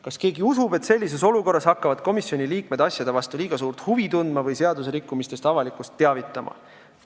Kas keegi usub, et sellises olukorras hakkavad komisjoni liikmed asjade vastu liiga suurt huvi tundma või seadusrikkumistest avalikkust teavitama?